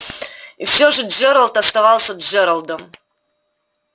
и все же джералд оставался джералдом